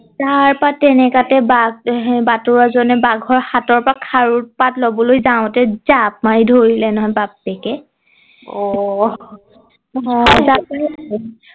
তাৰ পা তেনেকাতে বাঘ বাটৰোৱা জনে বাঘৰ হাতৰ পৰা খাৰু পাত লবলৈ যাওঁতে জাপ মাৰি ধৰিলে নহয় বাপেকে অহ